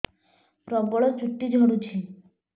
ପ୍ରବଳ ଚୁଟି ଝଡୁଛି